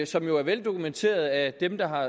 som jo er veldokumenteret af dem der har